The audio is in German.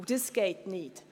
Das geht nicht.